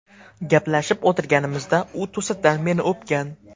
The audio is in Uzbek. Gaplashib o‘tirganimizda u to‘satdan meni o‘pgan.